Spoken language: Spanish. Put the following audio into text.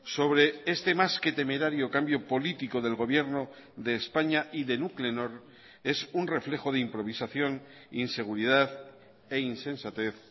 sobre este más que temerario cambio político del gobierno de españa y de nuclenor es un reflejo de improvisación inseguridad e insensatez